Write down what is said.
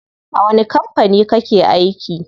A wani kampani kake aiki?